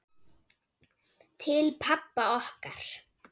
Til pabba okkar.